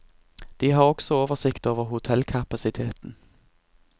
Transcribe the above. De har også oversikt over hotellkapasiteten.